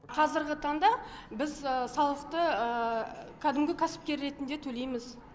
қазіргі таңда біз салықты кәдімгі кәсіпкер ретінде төлейміз